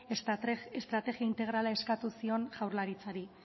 estrategia integrala eskatu zion jaurlaritzari